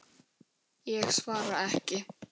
Ég svara ekki.